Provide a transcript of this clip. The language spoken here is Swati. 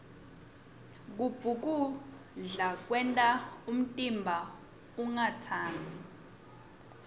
kubhukuda kwenta umtimba ungatsambi